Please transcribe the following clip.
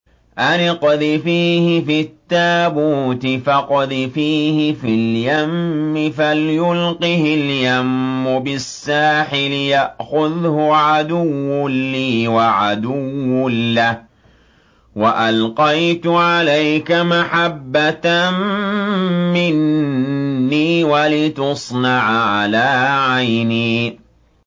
أَنِ اقْذِفِيهِ فِي التَّابُوتِ فَاقْذِفِيهِ فِي الْيَمِّ فَلْيُلْقِهِ الْيَمُّ بِالسَّاحِلِ يَأْخُذْهُ عَدُوٌّ لِّي وَعَدُوٌّ لَّهُ ۚ وَأَلْقَيْتُ عَلَيْكَ مَحَبَّةً مِّنِّي وَلِتُصْنَعَ عَلَىٰ عَيْنِي